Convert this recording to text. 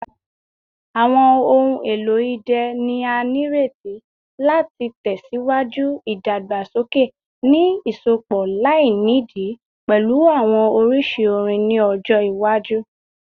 Awọn ohun elo idẹ ni a nireti lati tẹsiwaju idagbasoke, ni iṣọpọ lainidi pẹlu awọn oriṣi orin ni ọjọ iwaju.